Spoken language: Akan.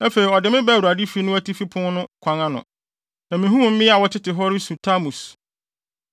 Afei ɔde me baa Awurade fi no atifi pon no kwan ano, na mihuu mmea a wɔtete hɔ resu Tamus.